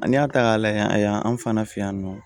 Ani y'a ta k'a lajɛ yan anw fana fɛ yan nɔ